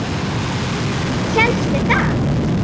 Hélstu það?